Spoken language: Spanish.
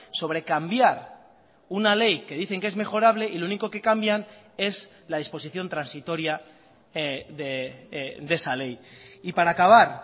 sobre cambiar una ley que dicen que es mejorable y lo único que cambian es la disposición transitoria de esa ley y para acabar